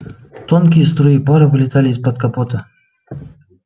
тонкие струи пара вылетали из-под капота